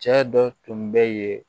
Cɛ dɔ tun bɛ yen